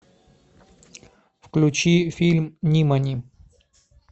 включи фильм нимани